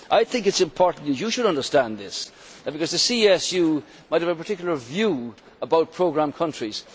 I think it is important that you should understand this, because the CSU might have a particular view about programme countries.